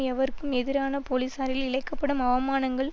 எவருக்கும் எதிரான போலிசாரில் இழைக்க படும் அவமானங்கள்